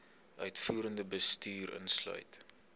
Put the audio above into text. uitvoerende bestuur insluit